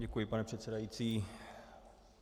Děkuji, pane předsedající.